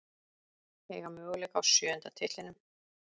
Eiga möguleika á sjöunda titlinum